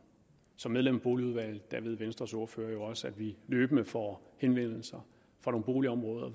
som medlem af boligudvalget ved venstres ordfører jo også at vi løbende får henvendelser fra nogle boligområder